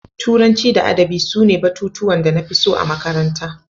Turanci da Adabi sune batutuwan da na fi so a makaranta.